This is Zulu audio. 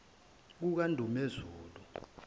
kukandumezulu